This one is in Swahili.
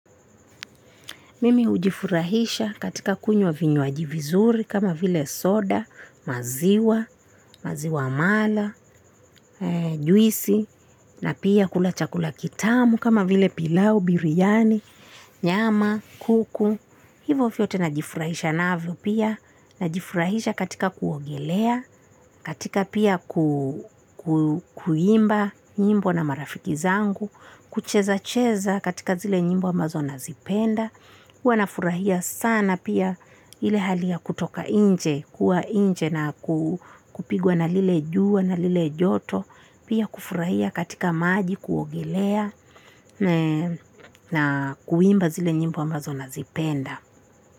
Mimi hujifurahisha katika kunywa vinywaji vizuri, kama vile soda, maziwa, maziwa mala, juisi, na pia kula chakula kitamu kama vile pilau, biryani, nyama, kuku. Hivo vyote najifurahisha navyo pia, najifurahisha katika kuogelea, katika pia kuimba nyimbo na marafiki zangu, kucheza-cheza katika zile nyimbo ambazo nazipenda, huwa nafurahia sana pia. Ile hali ya kutoka inje, kuwa inje na kupigwa na lile juwa na lile joto, pia kufurahia katika maji kuogelea na kuimba zile nyimbo ambazo nazipenda.